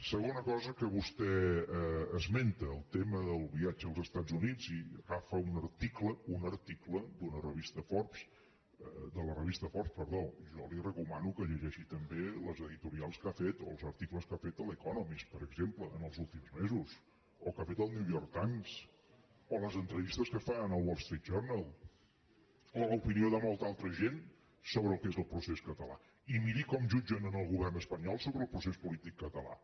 segona cosa que vostè esmenta el tema del viatge als estats units i agafa un article un article de la revista editorials que ha fet o els articles que ha fet l’economist per exemple en els últims mesos o que ha fet el new york times o les entrevistes que es fan en el wall street journal o l’opinió de molta altra gent sobre el que és el procés català i miri com jutgen el govern espanyol sobre el procés polític català